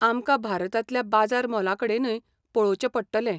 आमकां भारतांतल्या बाजार मोलाकडेनूय पळोवचें पडटलें.